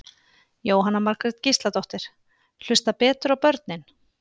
Jóhanna Margrét Gísladóttir: Hlusta betur á börnin?